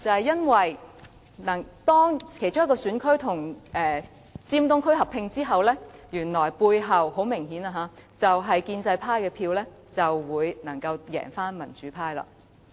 因為當其中一個選區與尖東區合併後，該選區支持建制派的票數就很明顯地可以勝過民主派。